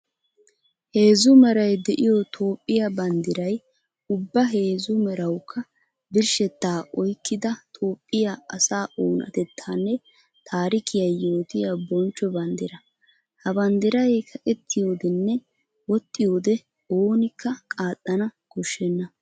Heezzu meray de'iyo Toophphiya banddiray ubba heezzu merawukka birshshetta oykkidda Toophphiya asaa oonatettanne taarikiya yootiya bonchcho banddira. Ha banddiray kaqqetiyodenne woxiyoode oonikka qaaxanna koshenna.